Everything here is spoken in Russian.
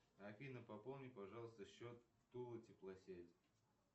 афина пополни пожалуйста счет тула теплосеть